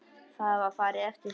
Það var farið eftir því.